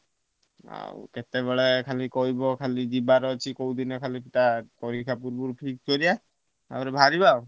ଆଉ କେତେବେଳେ ଖାଲି କହିବ କୋଉଦିନ ଯିବାର ଅଛି ଟା ପରୀକ୍ଷା ପୂର୍ବରୁ ଠିକ୍ କରିଆ ଆଉ ବାହାରିବ ଆଉ।